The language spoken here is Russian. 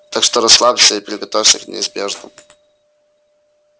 так что расслабься и приготовься к неизбежному